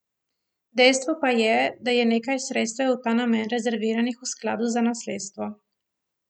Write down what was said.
Dejstvo pa je, da je nekaj sredstev v ta namen rezerviranih v skladu za nasledstvo.